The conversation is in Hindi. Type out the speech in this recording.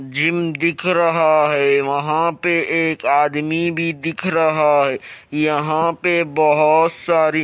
जिम दिख रहा है वहां पे एक आदमी भी दिख रहा है यहाँ पे बहोत सारी--